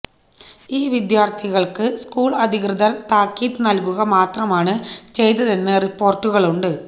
ഈ വിദ്യാര്ത്ഥികള്ക്ക് സ്കൂള് അധികൃതര് താക്കീത് നല്കുക മാത്രമാണ് ചെയ്തതെന്ന് റിപ്പോര്ട്ടുകളുണ്ട്